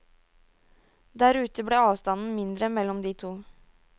Der ute ble avstanden mindre mellom de to.